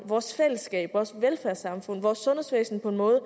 vores fællesskab vores velfærdssamfund vores sundhedsvæsen på en måde